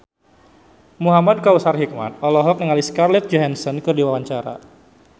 Muhamad Kautsar Hikmat olohok ningali Scarlett Johansson keur diwawancara